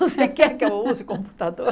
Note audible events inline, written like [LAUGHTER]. [LAUGHS] Você quer que eu use computador?